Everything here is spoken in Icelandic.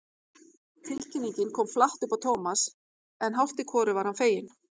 Tilkynningin kom flatt upp á Thomas en hálft í hvoru var hann feginn.